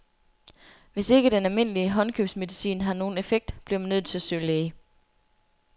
Hvis ikke den almindelige håndkøbsmedicin har nogen effekt, bliver man nødt til at søge læge.